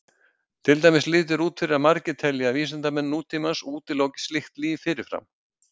Til dæmis lítur út fyrir að margir telji að vísindamenn nútímans útiloki slíkt líf fyrirfram.